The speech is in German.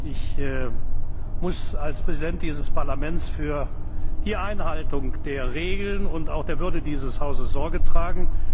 Ich muss als Präsident dieses Parlaments für die Einhaltung der Regeln und auch der Würde dieses Hauses Sorge tragen.